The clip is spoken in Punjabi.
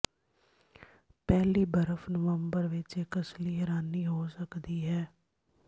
ਪਹਿਲੀ ਬਰਫ ਨਵੰਬਰ ਵਿਚ ਇੱਕ ਅਸਲੀ ਹੈਰਾਨੀ ਹੋ ਸਕਦੀ ਹੈ